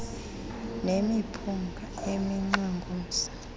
nemiphunga eminxwe ngumsi